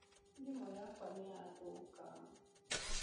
Thimu yakwa nĩ yathũka.